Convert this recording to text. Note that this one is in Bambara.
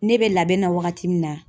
Ne bɛ labɛn na wagati min na ,